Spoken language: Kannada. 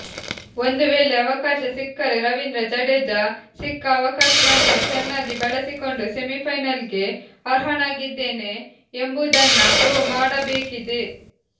ಒಂದು ವೇಳೆ ಅವಕಾಶ ಸಿಕ್ಕರೆ ರವೀಂದ್ರ ಜಡೇಜಾ ಸಿಕ್ಕ ಅವಕಾಶವನ್ನ ಚೆನ್ನಾಗಿ ಬಳಸಿಕೊಂಡು ಸೆಮಿಫೈನಲ್ಗೆ ಅರ್ಹನಾಗಿದ್ದೇನೆ ಎಂಬುದನ್ನ ಪ್ರೂವ್ ಮಾಡಬೇಕಿದೆ